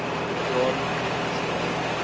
jaar matriek geskryf